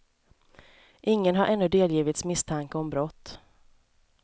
Ingen har ännu delgivits misstanke om brott.